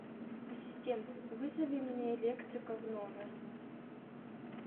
ассистент вызови мне электрика в номер